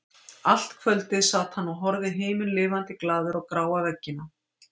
Allt kvöldið sat hann og horfði himinlifandi glaður á gráa veggina.